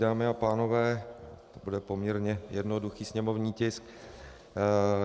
Dámy a pánové, bude to poměrně jednoduchý sněmovní tisk.